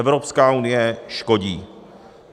Evropská unie škodí.